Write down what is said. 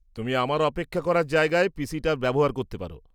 তুমি আমার অপেক্ষা করার জায়গার পি.সিটা ব্যবহার করতে পার।